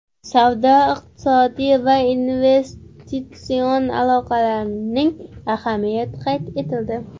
Savdo-iqtisodiy va investitsion aloqalarning ahamiyati qayd etildi.